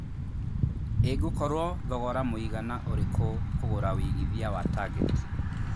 ĩngũkorwo thogora mũigana ũrikũ kũgũra wĩigĩthĩa wa target